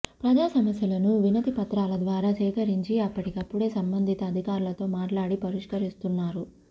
ప్రజా సమస్యలను వినతిపత్రాల ద్వారా సేకరించి అప్పటికప్పుడే సంబంధిత అధికారులతో మాట్లాడి పరిష్కరిస్తున్నారు